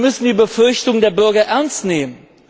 Wir müssen die Befürchtungen der Bürger ernst nehmen.